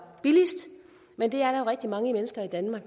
billigst men det er der rigtig mange mennesker i danmark